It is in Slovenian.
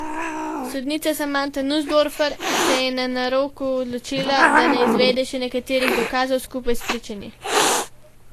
Sodnica Samanta Nusdorfer se je na naroku odločila, da ne izvede še nekaterih dokazov, skupaj s pričanji.